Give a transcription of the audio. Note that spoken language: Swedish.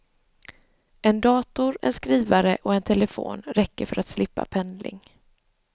En dator, en skrivare och en telefon räcker för att slippa pendling.